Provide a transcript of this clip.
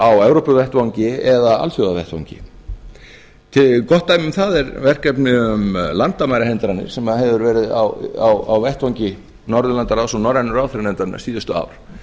á evrópuvettvangi eða á alþjóðavettvangi gott dæmi um það er verkefni um landamærahindranir sem hefur verið á vettvangi norðurlandaráðs og norrænu ráðherranefndarinnar síðustu ár